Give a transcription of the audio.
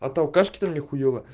от алкашки там нехуево